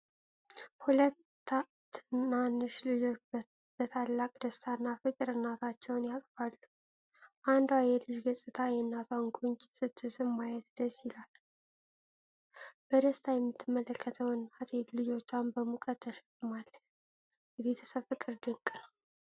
ሁለት ትናንሽ ልጆች በታላቅ ደስታና ፍቅር እናታቸውን ያቅፋሉ። አንዷ የልጅ ገጽታ የእናቷን ጉንጭ ስትስም ማየት ደስ ይላል። በደስታ የምትመለከተው እናት ልጆቿን በሙቀት ተሸክማለች። የቤተሰብ ፍቅር ድንቅ ነው።